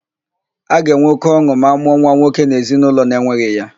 A ga-enwe óké ọn̄ụ ma a mụọ nwa nwoke n'ezinaụlọ na-enweghị ya.